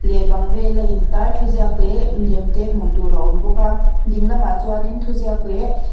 leh bang vel a in tar thuziak leh milem te hmuh tur a awm bawk a dinglam chuanin thuziak leh.